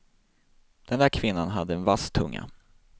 Den där kvinnan hade en vass tunga.